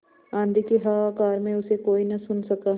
आँधी के हाहाकार में उसे कोई न सुन सका